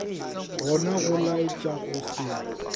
gona go laetša go se